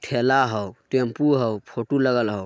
ठेला हउ टेम्पो हउ फोटू लगल हउ।